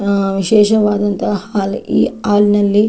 am ವಿಶೇಷವಾದಂತಹ hall ಈ hall ನಲ್ಲಿ--